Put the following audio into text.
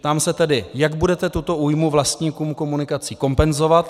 Ptám se tedy, jak budete tuto újmu vlastníkům komunikací kompenzovat.